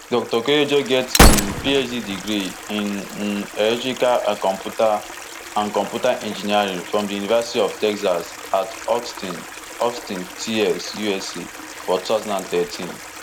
dr koyejo get um phd degree in um electrical and computer and computer engineering from di university of texas at austin austin tx usa for two thousand and thirteen